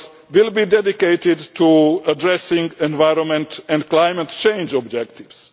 will be dedicated to addressing environment and climate change objectives.